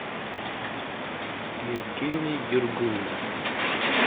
евгений дергунов